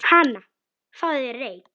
Hana, fáðu þér reyk